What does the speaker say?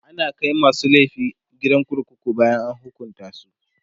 ana Kai masu laifi gidan kurkuku bayan an hukunta su